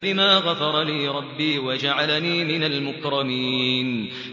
بِمَا غَفَرَ لِي رَبِّي وَجَعَلَنِي مِنَ الْمُكْرَمِينَ